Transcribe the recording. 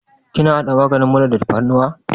Kina haɗa maganin mura da tafarnuwa?